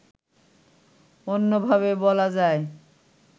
অন্যভাবে বলা যায়